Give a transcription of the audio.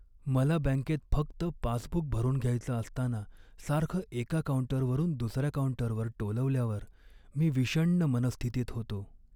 मला बँकेत फक्त पासबुक भरून घ्यायचं असताना सारखं एका काऊंटरवरून दुसऱ्या काऊंटरवर टोलवल्यावर मी विषण्ण मनःस्थितीत होतो.